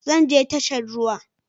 Zan je tashar ruwa